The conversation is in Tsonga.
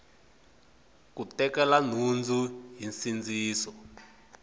ku tekela nhundzu hi nsindziso